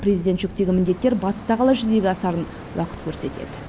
президент жүктеген міндеттер батыста қалай жүзеге асарын уақыт көрсетеді